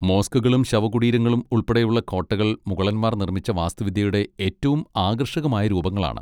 മോസ്കുകളും ശവകുടീരങ്ങളും ഉൾപ്പെടെയുള്ള കോട്ടകൾ മുഗളന്മാർ നിർമ്മിച്ച വാസ്തുവിദ്യയുടെ ഏറ്റവും ആകർഷകമായ രൂപങ്ങളാണ്.